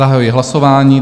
Zahajuji hlasování.